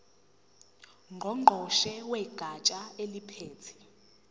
ngqongqoshe wegatsha eliphethe